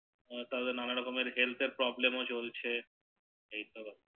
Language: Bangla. তাহলে আবার নানা রোকন হেলথ এর Problem ও চলছে এর